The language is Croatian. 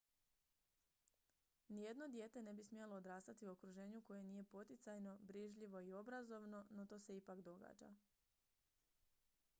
nijedno dijete ne bi smjelo odrastati u okruženju koje nije poticajno brižljivo i obrazovno no to se ipak događa